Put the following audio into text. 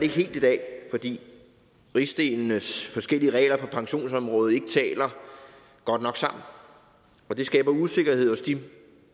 helt i dag fordi rigsdelenes forskellige regler på pensionsområdet ikke taler godt nok sammen og det skaber usikkerhed hos de